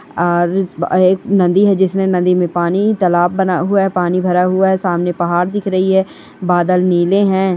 और ईस बा एक नदी है जिसने नदी में पानी तालाब बना हुआ है पानी भरा हुआ है सामने पाहाड़ दिख रही है बादल नीले हे--